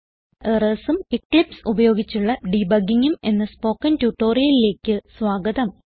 Errorsഉം Eclipse ഉപയോഗിച്ചുള്ള Debuggingഉം എന്ന സ്പോകെൻ ട്യൂട്ടോറിയലിലേക്ക് സ്വാഗതം